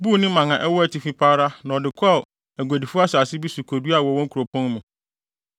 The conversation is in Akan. buu ne mman a ɛwɔ atifi pa ara na ɔde kɔɔ aguadifo asase bi so koduaa wɔ wɔn kuropɔn mu.